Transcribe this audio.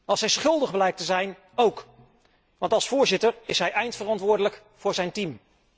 Als hij schuldig blijkt te zijn óók, want als voorzitter is hij eindverantwoordelijk voor zijn team.